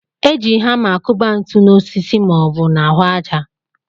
E ji hamá akụba ntụ na osisi ma ọ bụ n'ahụ àjà